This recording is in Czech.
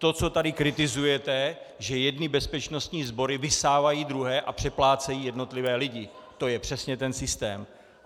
To, co tady kritizujete, že jedny bezpečnostní sbory vysávají druhé a přeplácejí jednotlivé lidi, to je přesně ten systém.